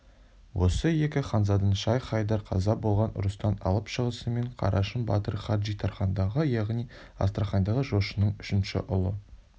осы екі ханзаданы шайх-хайдар қаза болған ұрыстан алып шығысымен қарашың батыр хаджитархандағы яғни астраханьдағы жошының үшінші ұлы